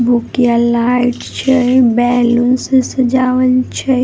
भूकिया light छै balloon से सजावल छै ।